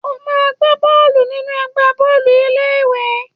O máa gba bọ́ọ̀lù nínú ẹgbẹ́ bọ́ọ̀lù ilé ìwé.!